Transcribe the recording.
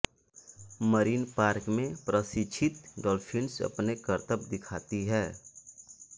marine park में प्रशिक्षित dolphins अपने करतब दिखाती हैं